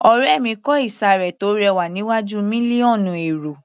Ọ̀rẹ́ mi kò ìsàré tó rẹwà níwájú mílíọ̀nù èrò